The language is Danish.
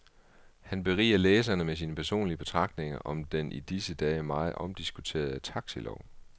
Han beriger læserne med sine personlige betragtninger om den i disse dage meget omdiskuterede taxilov.